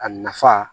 A nafa